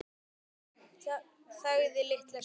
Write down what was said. Sveinn þagði litla stund.